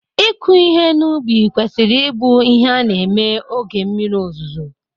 ịkụ ihe n'ubi kwesịrị ịbụ ihe a na-eme oge mmiri ozuzo